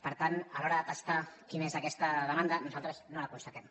per tant a l’hora de testar quina és aquesta demanda nosaltres no la constatem